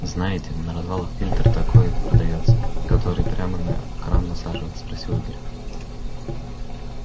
знаете на развалах фильтр такой продаётся который прямо на кран насаживается спросил игорь